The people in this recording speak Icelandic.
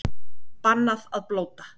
Bannað að blóta